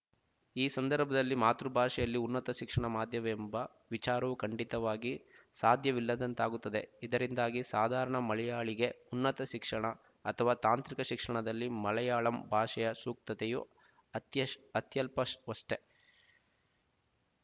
ಈ ಸಂದರ್ಭದಲ್ಲಿ ಮಾತೃಭಾಷೆಯಲ್ಲಿ ಉನ್ನತ ಶಿಕ್ಷಣ ಮಾಧ್ಯಮವೆಂಬ ವಿಚಾರವು ಖಂಡಿತವಾಗಿ ಸಾಧ್ಯವಿಲ್ಲದಂತಾಗುತ್ತದೆ ಇದರಿಂದಾಗಿ ಸಾಧಾರಣ ಮಲಯಾಳಿಗೆ ಉನ್ನತ ಶಿಕ್ಷಣ ಅಥವಾ ತಾಂತ್ರಿಕ ಶಿಕ್ಷಣದಲ್ಲಿ ಮಲಯಾಳಂ ಭಾಷೆಯ ಸೂಕ್ತತೆಯು ಅತ್ಯಷ್ ಅತ್ಯಲ್ಪಷ್ ವಷ್ಟೇ